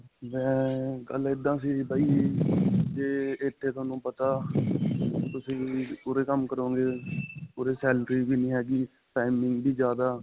ਮੈਂ ਗੱਲ ਇੱਦਾ ਸੀ ਬਾਈ ਜੇ ਇੱਥੇ ਤੁਹਾਨੂੰ ਪਤਾ ਤੁਸੀਂ ਉਰੇ ਕੰਮ ਕਰੋਗੇ. ਉਰੇ salary ਵੀ ਨਹੀਂ ਹੈਗੀ timing ਵੀ ਜਿਆਦਾ.